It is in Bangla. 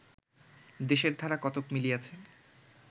দেশের ধারা কতক মিলিয়াছে